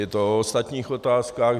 Je to o ostatních otázkách.